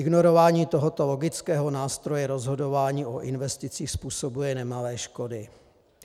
Ignorování tohoto logického nástroje rozhodování o investicích způsobuje nemalé škody.